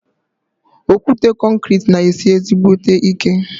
Okwute konkrete ná esi ezígbóté ike